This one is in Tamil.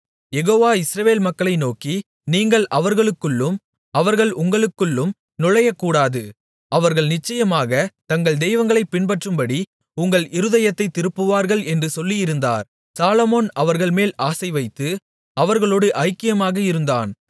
யெகோவா இஸ்ரவேல் மக்களை நோக்கி நீங்கள் அவர்களுக்குள்ளும் அவர்கள் உங்களுக்குள்ளும் நுழையக்கூடாது அவர்கள் நிச்சயமாகத் தங்கள் தெய்வங்களைப் பின்பற்றும்படி உங்கள் இருதயத்தைத் திருப்புவார்கள் என்று சொல்லியிருந்தார் சாலொமோன் அவர்கள்மேல் ஆசைவைத்து அவர்களோடு ஐக்கியமாக இருந்தான்